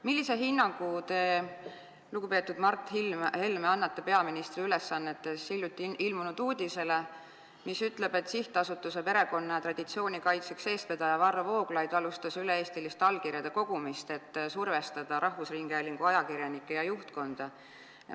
Millise hinnangu teie, lugupeetud Mart Helme, olles peaministri ülesannetes, annate hiljuti ilmunud uudisele, mis ütleb, et SA Perekonna ja Traditsiooni Kaitseks eestvedaja Varro Vooglaid on alustanud üle-eestilist allkirjade kogumist, et survestada rahvusringhäälingu ajakirjanikke ja juhtkonda?